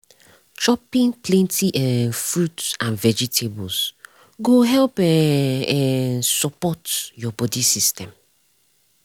chopping plenty um fruit and vegetables go help um um support your body system.